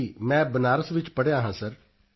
ਜੀ ਮੈਂ ਬਨਾਰਸ ਵਿੱਚ ਪੜ੍ਹਿਆ ਹਾਂ ਸਰ